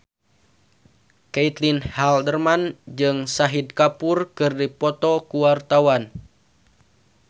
Caitlin Halderman jeung Shahid Kapoor keur dipoto ku wartawan